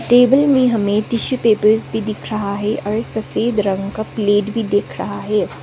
Table में हमें tissue papers भी दिख रहा है और सफेद रंग का प्लेट भी दिख रहा है।